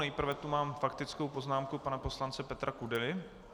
Nejprve tu mám faktickou poznámku pana poslance Petra Kudely.